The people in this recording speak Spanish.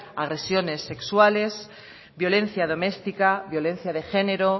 agresiones sexuales violencia doméstica violencia de género